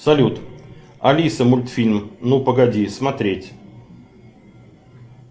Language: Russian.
салют алиса мультфильм ну погоди смотреть